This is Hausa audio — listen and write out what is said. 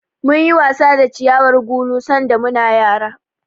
Munyi wasa da ciyawar gulu sanda muna yara.